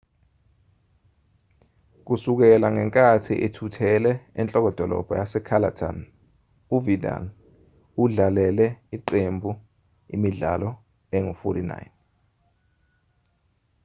kusukela ngenkathi ethuthele enhlokodolobha yase-catalan uvidal udlalele iqembu imidlalo engu-49